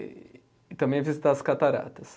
E e também visitar as cataratas.